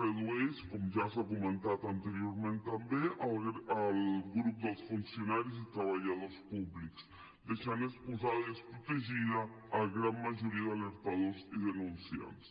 redueix com ja s’ha comentat anteriorment també al grup dels funcionaris i treballadors públics deixant exposada i desprotegida la gran majoria d’alertadors i denunciants